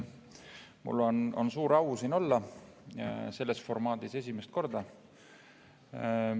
Mul on suur au siin selles formaadis esimest korda olla.